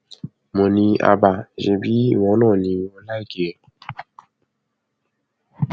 mo ní hábà ṣebí ìwọ náà ni o ò láìkí ẹ